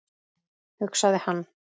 hugsaði hann.